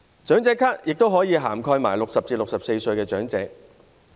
長者咭也可以涵蓋60歲至64歲的長者。